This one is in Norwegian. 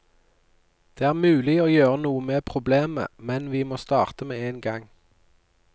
Det er mulig å gjøre noe med problemet, men vi må starte med én gang.